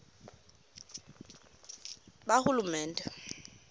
bahulumende